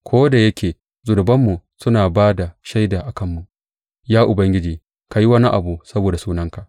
Ko da yake zunubanmu suna ba da shaida a kanmu, Ya Ubangiji, ka yi wani abu saboda sunanka.